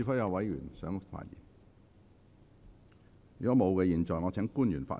如果沒有，我現在請官員發言。